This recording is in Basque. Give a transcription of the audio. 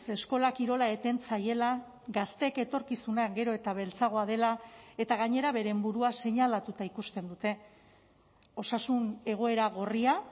eskola kirola eten zaiela gazteek etorkizuna gero eta beltzagoa dela eta gainera beren burua seinalatuta ikusten dute osasun egoera gorria